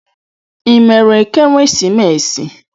Ị mere ekeresimesi?